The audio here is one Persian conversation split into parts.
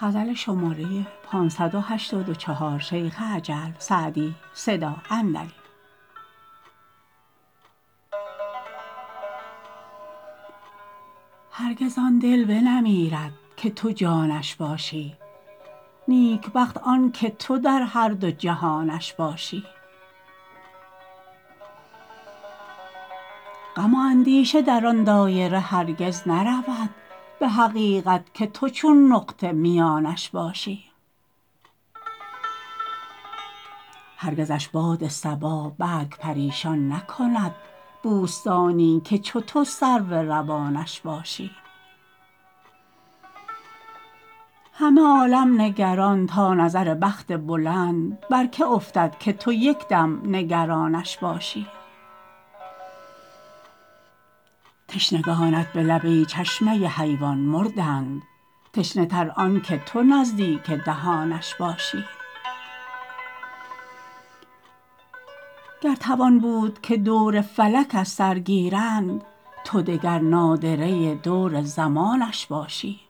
هرگز آن دل بنمیرد که تو جانش باشی نیکبخت آن که تو در هر دو جهانش باشی غم و اندیشه در آن دایره هرگز نرود به حقیقت که تو چون نقطه میانش باشی هرگزش باد صبا برگ پریشان نکند بوستانی که چو تو سرو روانش باشی همه عالم نگران تا نظر بخت بلند بر که افتد که تو یک دم نگرانش باشی تشنگانت به لب ای چشمه حیوان مردند تشنه تر آن که تو نزدیک دهانش باشی گر توان بود که دور فلک از سر گیرند تو دگر نادره دور زمانش باشی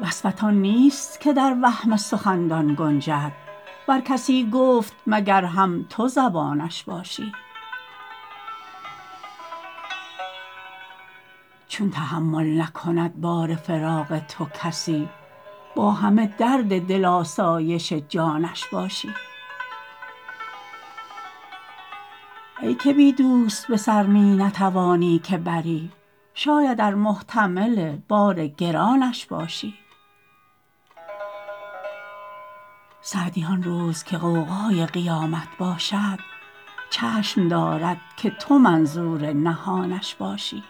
وصفت آن نیست که در وهم سخندان گنجد ور کسی گفت مگر هم تو زبانش باشی چون تحمل نکند بار فراق تو کسی با همه درد دل آسایش جانش باشی ای که بی دوست به سر می نتوانی که بری شاید ار محتمل بار گرانش باشی سعدی آن روز که غوغای قیامت باشد چشم دارد که تو منظور نهانش باشی